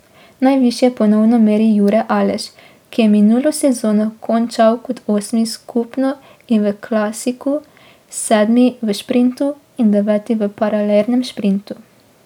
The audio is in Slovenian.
Najvišje ponovno meri Jure Aleš, ki je minulo sezono končal kot osmi skupno in v klasiku, sedmi v šprintu in deveti v paralelnem šprintu.